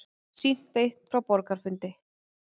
Sýnt beint frá borgarafundi